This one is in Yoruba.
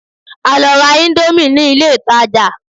A lọ ra íńdómì ní ilé ìtajà.